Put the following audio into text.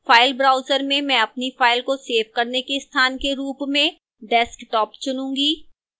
file browser में मैं अपनी फ़ाइल को सेव करने के स्थान के रूप में desktop चुनूंगी